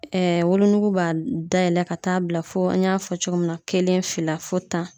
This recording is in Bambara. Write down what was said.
wolonugu b'a dayɛlɛ ka taa bila fo an y'a fɔ cogo min na kelen fila fo tan